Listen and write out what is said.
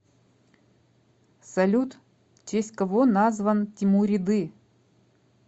салют в честь кого назван тимуриды